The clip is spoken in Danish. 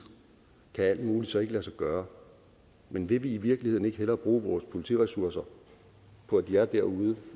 kan alt muligt så ikke lade sig gøre men ville vi i virkeligheden ikke hellere bruge vores politiressourcer på at de er derude